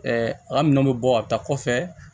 a ka minɛnw bɛ bɔ a bɛ taa kɔfɛ